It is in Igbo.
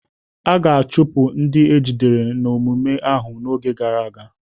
A ga-achụpụ ndị ejidere n'omume ahụ n'oge gara aga.